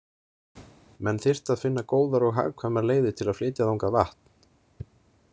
Menn þyrftu að finna góðar og hagkvæmar leiðir til að flytja þangað vatn.